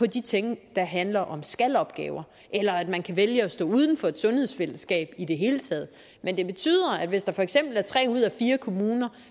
de ting der handler om skal opgaver eller at man kan vælge at stå uden for et sundhedsfællesskab i det hele taget men det betyder at hvis der for eksempel er tre ud af fire kommuner